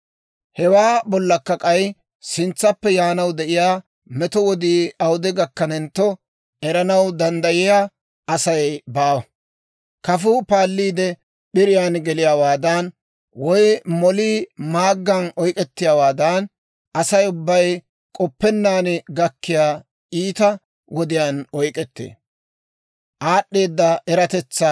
Hewaa bollakka k'ay, sintsappe yaanaw de'iyaa meto wodii awude gakkanentto, eranaw danddayiyaa Asay baawa; kafuu paalliidde p'iriyaan geliyaawaadan, woy molii maaggan oyk'k'ettiyaawaadan, Asay ubbay k'oppennaan gakkiyaa iita wodiyaan oyk'ettee.